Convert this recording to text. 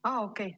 Aa, okei.